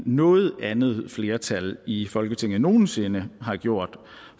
noget andet flertal i folketinget nogen sinde har gjort